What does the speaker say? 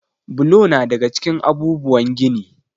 Bulo na daga cikin abubuwan gini.